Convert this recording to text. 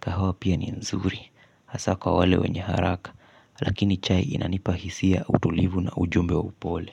Kahawa pia ni nzuri hasa kwa wale wenye haraka. Lakini chai inanipa hisia utulivu na ujumbe wa upole.